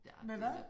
Der har det her